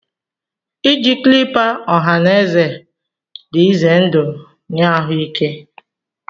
Iji clipper ọha na eze dị ize ndụ nye ahụike